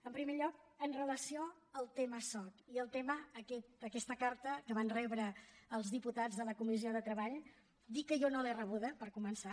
en primer lloc amb relació al tema soc i al tema d’aquesta carta que van rebre els diputats de la comissió de treball dir que jo no l’he rebuda per començar